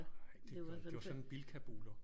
Nej det var sådan Bilkabuler